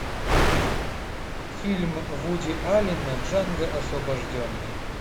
фильм вуди аллена джанго освобожденный